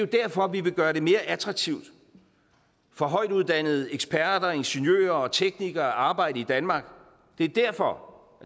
derfor vi vil gøre det mere attraktivt for højtuddannede eksperter ingeniører og teknikere at arbejde i danmark det er derfor